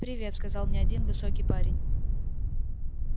привет сказал мне один высокий парень